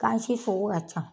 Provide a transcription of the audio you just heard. Gan si sugu ka ca